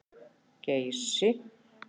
Geysi